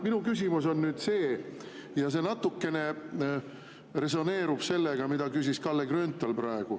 Minu küsimus on nüüd see ja see natukene resoneerub sellega, mida just küsis Kalle Grünthal.